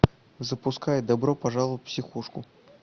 запускай добро пожаловать в психушку